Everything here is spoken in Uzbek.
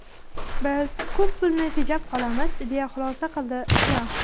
Biz ko‘p pulni tejab qolamiz”, deya xulosa qildi Tramp.